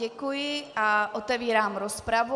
Děkuji a otevírám rozpravu.